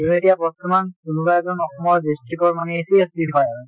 তʼ এতিয়া বৰ্তমান কোনোবা এজন অসমৰ district ৰ মানেACS হয়।